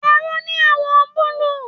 Aró ní àwọ̀ọ̀ búlúù.